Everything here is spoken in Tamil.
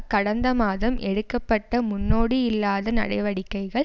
கடந்த மாதம் எடுக்க பட்ட முன்னோடியில்லாத நடவடிக்கைகள்